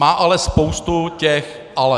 Má ale spoustu těch ale.